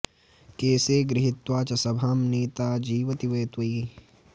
केशे गृहीत्वा च सभां नीता जीवति वै त्वयि